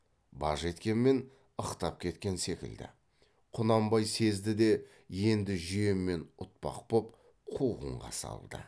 баж еткенмен ықтап кеткен секілді құнанбай сезді де енді жүйемен ұтпақ боп қуғынға салды